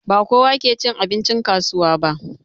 Ba kowa ke cin abincin kasuwa ba